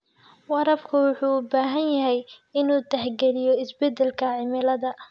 Waraabka wuxuu u baahan yahay inuu tixgeliyo isbeddelka cimilada.